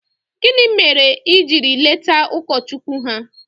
gini mere i jiri leta ụkọchukwu ha?